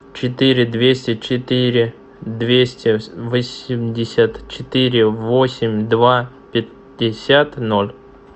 четыре двести четыре двести восемьдесят четыре восемь два пятьдесят ноль